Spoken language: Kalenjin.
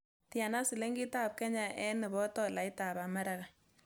Tiana silingitab kenya eng' nebo tolaitab america